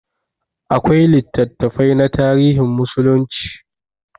Akwai littattafai na tarihin musulunci.